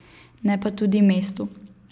Ne pa tudi mestu.